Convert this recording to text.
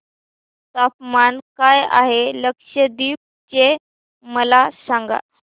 तापमान काय आहे लक्षद्वीप चे मला सांगा